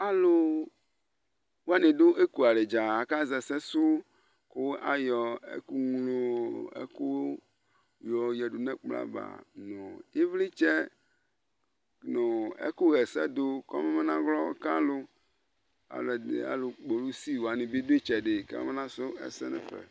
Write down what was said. alu wani du ékualɛ dza aka zɛsɛ su ku ayɔ ɛku nlo ɛku yo yadu nu ɛkplɔ va nu ivlitsɛ nu ɛku yɛsɛ du kɔ mabanawlɔ ka lu alu kpolisi wani bi du itsɛdi ka mabanasu ɛsɛ nɛ fɛ